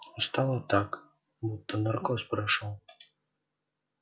стало так будто наркоз прошёл